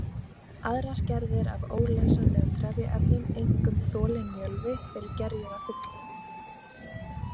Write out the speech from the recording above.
Aðrar gerðir af óleysanlegum trefjaefnum, einkum þolinn mjölvi, eru gerjuð að fullu.